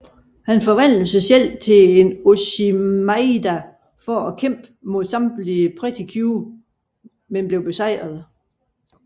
Han forvandler sig selv til en oshimaida for at kæmpe mod samtlige Pretty Cure men bliver besejret